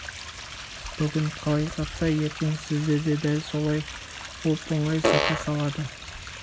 бүгін қалай сатса ертең сізді де дәл солай оп-оңай сата салады